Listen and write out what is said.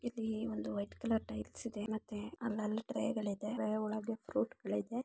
ಇದು white colour ತಿಳಿಸಿದೆ. ಮತ್ತೆ ಅಲ್ಲ ಇದರ ಒಳಗೆ ಹೋಗಿದ್ದೆ.